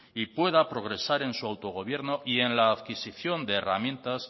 y pueda progresar en su autogobierno y en la adquisicion de herramientas